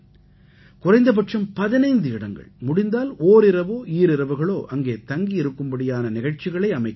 குறைந்தபட்சம் 15 இடங்கள் முடிந்தால் ஓரிரவோ ஈரிரவுகளோ அங்கே தங்கி இருக்கும்படியான நிகழ்ச்சிகளை அமைக்க வேண்டும்